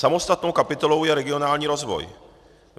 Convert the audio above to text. Samostatnou kapitolou je regionální rozvoj.